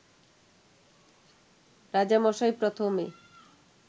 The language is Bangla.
রাজামশাই প্রথমে